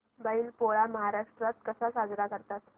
बैल पोळा महाराष्ट्रात कसा साजरा करतात